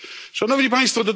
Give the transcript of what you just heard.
Szanowni Państwo!